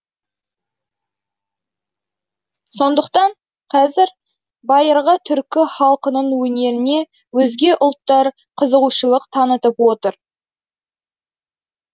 сондықтан қазір байырғы түркі халқының өнеріне өзге ұлттар қызығушылық танытып отыр